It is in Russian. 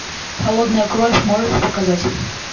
холодная кровь можешь показать